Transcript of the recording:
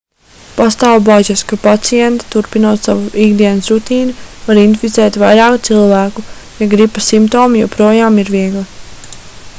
pastāv bažas ka pacienti turpinot savu ikdienas rutīnu var inficēt vairāk cilvēku ja gripas simptomi joprojām ir viegli